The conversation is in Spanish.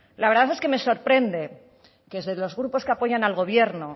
la verdad es que me sorprende que desde los grupos que apoyan al gobierno